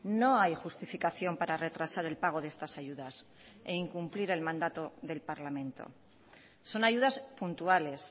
no hay justificación para retrasar el pago de estas ayudas e incumplir el mandato del parlamento son ayudas puntuales